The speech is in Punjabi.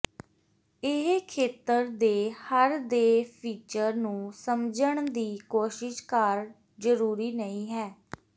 ਇਹ ਖੇਤਰ ਦੇ ਹਰ ਦੇ ਫੀਚਰ ਨੂੰ ਸਮਝਣ ਦੀ ਕੋਸ਼ਿਸ਼ ਕਰ ਜ਼ਰੂਰੀ ਨਹੀ ਹੈ